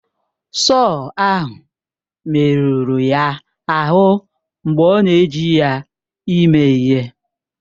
Sọọ ahụ merụrụ ya ahụ mgbe ọ na-eji ya ime ihe.